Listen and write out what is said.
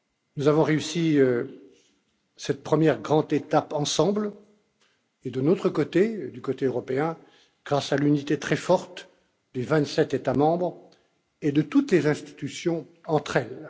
Nous avons réussi cette première grande étape ensemble et, du côté européen, grâce à l'unité très forte des vingt sept États membres et de toutes les institutions entre elles.